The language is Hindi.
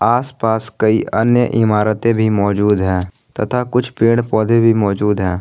आसपास कई अन्य इमारतें भी मौजूद है तथा कुछ पेड़ पौधे भी मौजूद है।